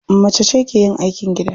Macece ke yin aikin gida.